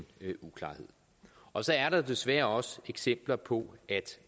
uklarhed og så er der desværre også eksempler på at